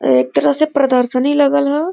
एक तरह से प्रदर्शिनी लगल ह।